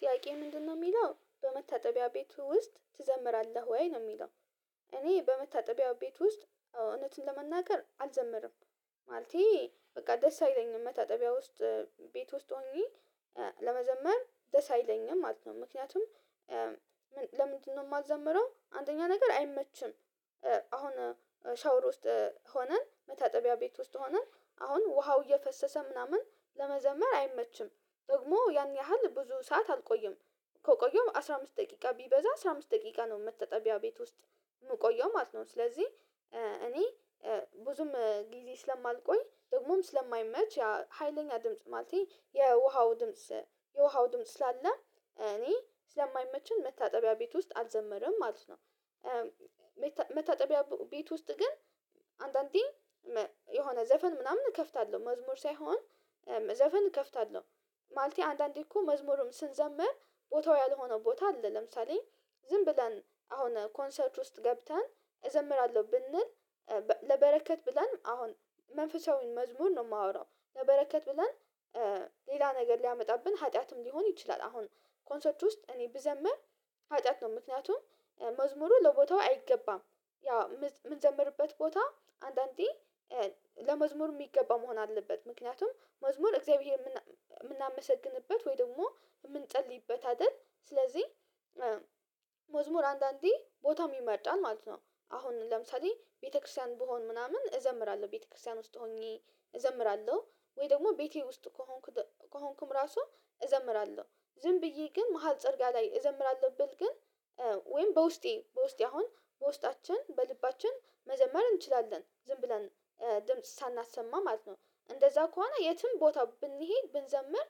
ጥያቄ ምንድነው የሚለው በመታጠቢያ ቤቱ ውስጥ ትዘምራለህ ወይ ነው የሚለው? እኔ በመታጠቢያው ቤት ውስጥ እውነትን ለመናገር አልዘምርም። ማለቴ በቃ ደስ አይለኝም መታጠቢያ ውስጥ ቤት ውስጥ ሆኜ ለመዘመር ደስ አይለኝም ማለት ነው። ምክንያቱም ለምንድነው የማዘምረው አንደኛ ነገር አይመችም። አሁን ሻውር ውስጥ ሆነን መታጠቢያ ቤት ውስጥ ሆነን አሁን ውሃው እየፈሰሰ ምናምን ለመዘመር አይመችም ደግሞ ያን ያህል ብዙ ሰዓት አልቆይም። ከቆየውም አስራ አምስት ደቂቃ ቢበዛ አስራ አምስት ደቂቃ ነው መታጠቢያ ቤት ውስጥ የምቆየው ማለት ነው። ስለዚህ እኔ ብዙም ጊዜ ስለማልቆይ ደግሞም ስለማይመች ያ ሀይለኛ ድምጽ ማለቴ የውሃው ድምጽ የውሃው ድምጽ ስላለ እኔ ስለማይመቸኝ መታጠቢያ ቤት ውስጥ አልዘመረም ማለት ነው። መታጠቢያ ቤት ውስጥ ግን አንዳንዴ የሆነ ዘፈን ምናምን እከፍታለሁ መዝሙር ሳይሆን ዘፈን እከፍታለሁ ማለቴ አንዳንዴ እኮ መዝሙርም ስንዘምር ቦታው ያልሆነ ቦታ አለ። ለምሳሌ ዝም ብለን አሁን ኮንሰርት ውስጥ ገብተን እዘምራለሁ ብንል ለበረከት ብለን አሁን መንፈሳዊን መዝሙር ነው የማወራው ለበረከት ብለን ሌላ ነገር ሊያመጣብን ሀጢያትም ሊሆን ይችላል። አሁን ኮንሰርት ውስጥ እኔ ብዘምር ሀጢያት ነው ምክንያቱም መዝሙሩ ለቦታው አይገባም። ያው የምንዘምርበት ቦታ አንዳንዴ ለመዝሙሩ የሚገባ መሆን አለበት ምክንያቱም መዝሙር እግዚአብሔር የምናመሰግንበት ወይ ደግሞ የምንጸልይበት አይደል ስለዚህ መዝሙር አንዳንዴ ቦታ ይመርጣል ማለት ነው። አሁን ለምሳሌ ቤተክርስቲያን ብሆን ምናምን እዘምራለሁ ቤተክርስቲያን ውስጥ ሆኜ እዘምራለሁ ወይ ደግሞ ቤቴ ውስጥ ከሆንኩ ከሆንኩም ራሱ እዘምራለሁ ዝም ብዬ ግን መሃል ፀርጋ ላይ እዘምራለሁ ብል ግን። ወይም በውስጤ በውስጤ አሁን በውስጣችን በልባችን መዘመር እንችላለን ዝም ብለን ድምጽ ሳናሰማ ማለት ነው። እንደዛ ከሆነ የትም ቦታ ብንሄድ ብንዘምር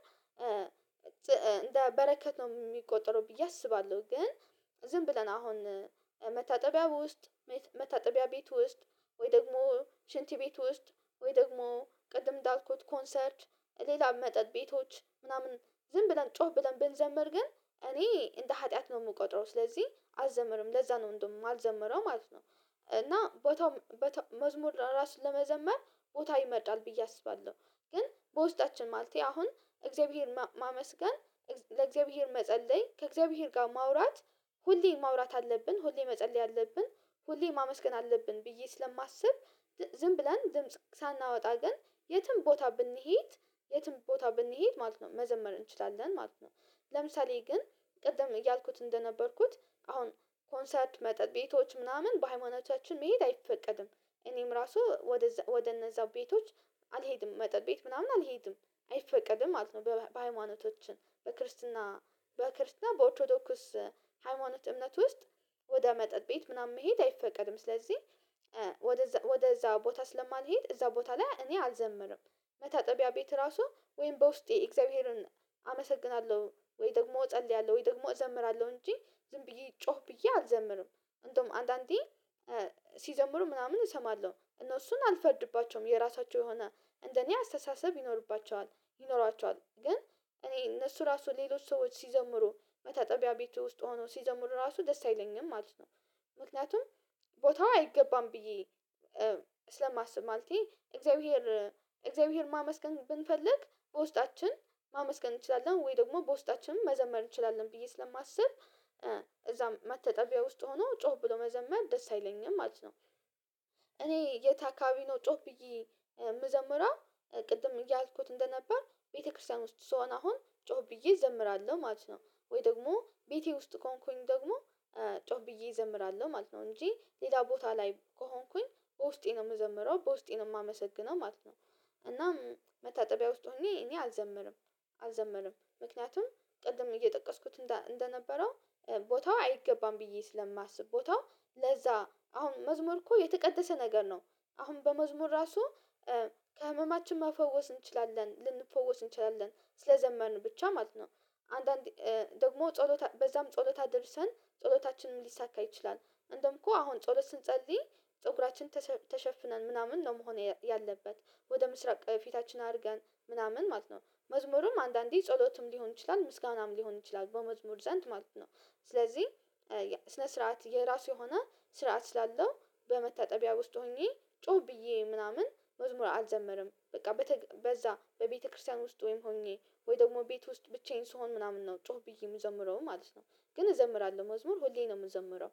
እንደ በረከት ነው የሚቆጠረው ብዬ አስባለሁ። ግን ዝም ብለን አሁን መታጠቢያ ውስጥ መታጠቢያ ቤት ውስጥ ወይ ደግሞ ሽንት ቤት ውስጥ ወይ ደግሞ ቅድም እንዳልኩት ኮንሰርት ሌላ መጠጥ ቤቶች ምናምን ዝም ብለን ጮህ ብለን ብንዘምር ግን እኔ እንደ ሀጢያት ነው የምቆጥረው ስለዚህ አልዘምርም ለዛ ነው እንደውም የማልዘምረው ማለት ነው። እና ቦታው መዝሙር ራሱን ለመዘመር ቦታ ይመጣል ብዬ አስባለሁ። ግን በውስጣችን ማለቴ አሁን እግዚአብሔር ማመስገን ለእግዚአብሔር መጸለይ ከእግዚአብሔር ጋር ማውራት ሁሌ ማውራት አለብን ሁሌ መጸለይ አለብን። ሁሌ ማመስገን አለብን ብዬ ስለማስብ ዝም ብለን ድምጽ ሳናወጣ ግን የትም ቦታ ብንሄድ የትም ቦታ ብንሄድ ማለት ነው መዘመር እንችላለን ማለት ነው። ለምሳሌ ግን ቅድም እያልኩት እንደነበርኩት አሁን ኮንሰርት መጠጥ ቤቶች ምናምን በሃይማኖቻችን መሄድ አይፈቀድም። እኔም ራሱ ወደ እነዛው ቤቶች አልሄድም መጠጥ ቤት ምናምን አልሄድም። አይፈቀድም ማለት ነው በሃይማኖታችን በክርስትና በክርስትና በኦርቶዶክስ ሃይማኖት እምነት ውስጥ ወደ መጠጥ ቤት ምናምን መሄድ አይፈቀድም። ስለዚህ ወደዛ ቦታ ስለማልሄድ እዛ ቦታ ላይ እኔ አልዘምርም። መታጠቢያ ቤት ራሱ ወይም በውስጤ እግዚአብሔርን አመሰግናለሁ ወይ ደግሞ እጸልያለሁ ወይ ደግሞ እዘምራለሁ እንጂ ዝም ብዬ ጮህ ብዬ አልዘምርም። እንደውም አንዳንዴ ሲዘምሩ ምናምን እሰማለሁ እነሱን አልፈርድባቸውም የራሳቸው የሆነ እንደኔ አስተሳሰብ ይኖርባቸዋል ይኖሯቸዋል ግን እኔ እነሱ ራሱ ሌሎች ሰዎች ሲዘምሩ መታጠቢያ ቤቱ ውስጥ ሆነው ሲዘምሩ ራሱ ደስ አይለኝም ማለት ነው። ምክንያቱም ቦታው አይገባም ብዬ ስለማስብ ማለቴ እግዚአብሔር እግዚአብሔር ማመስገን ብንፈልግ በውስጣችን ማመስገን እንችላለን ወይ ደግሞ በውስጣችንም መዘመር እንችላለን ብዬ ስለማስብ እዛ መታጠቢያ ውስጥ ሆኖ ጮህ ብሎ መዘመር ደስ አይለኝም ማለት ነው። እኔ የት አካባቢ ነው ጮህ ብዬ የምዘምረው? ቅድም እያልኩት እንደነበር ቤተክርስቲያን ውስጥ ስሆን አሁን ጮህ ብዬ እዘምራለሁ ማለት ነው ወይ ደግሞ ቤቴ ውስጥ ከሆንኩኝ ደግሞ ጮህ ብዬ እዘምራለሁ ማለት ነው እንጂ ሌላ ቦታ ላይ ከሆንኩኝ በውስጤ ነው የምዘምረው በውስጤ ነው የማመሰግነው ማለት ነው። እናም መታጠቢያ ውስጥ ሆኜ እኔ አልዘምርም። አልዘምርም ምክንያቱም ቅድም እየጠቀስኩት እንደነበረው ቦታው አይገባም ብዬ ስለማስብ ቦታው ለዛ አሁን መዝሙር እኮ የተቀደሰ ነገር ነው። አሁን በመዝሙር ራሱ ከህመማችን መፈወስ እንችላለን ልንፈወስ እንችላለን ስለዘመርን ብቻ ማለት ነው። አንዳንዴ ደግሞ ጸሎት በዛም ጸሎት አድርሰን ጸሎታችንም ሊሳካ ይችላል። እንደውም እኮ አሁን ጸሎት ስንጸልይ ፀጉራችን ተሸፍነን ምናምን ነው መሆን ያለበት ወደ ምስራቅ ፊታችን አድርገን ምናምን ማለት ነው መዝሙሩም አንዳንዴ ጸሎትም ሊሆን ይችላል ምስጋናም ሊሆን ይችላል በመዝሙር ዘንድ ማለት ነው። ስለዚህ ስርዓት የራሱ የሆነ ስርዓት ስላለው በመታጠቢያ ውስጥ ሆኜ ጮህ ብዬ ምናምን መዝሙር አልዘመርም በቃ በዛ በቤተክርስቲያን ውስጥ ወይም ሆኜ ወይ ደግሞ ቤት ውስጥ ብቻዬን ስሆን ምናምን ነው ጮህ ብዬ የምዘምረው ማለት ነው። ግን እዘምራለሁ መዝሙር ሁሌ ነው የምዘምረው።